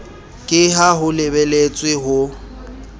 ka ha ho lebeletswe ho